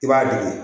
I b'a di